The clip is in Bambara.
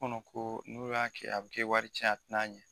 kɔnɔ ko n'o y'a kɛ a bɛ kɛ wari cɛn ye a tɛ na ɲɛ.